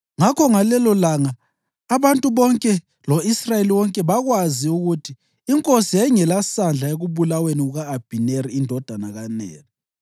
Ngakho ngalelolanga abantu bonke lo-Israyeli wonke bakwazi ukuthi inkosi yayingelasandla ekubulaweni kuka-Abhineri indodana kaNeri.